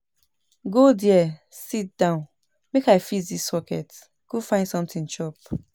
Go there sit down make I fix dis socket go find something chop